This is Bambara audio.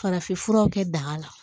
Farafinfuraw kɛ daga la